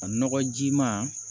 A nɔgɔjima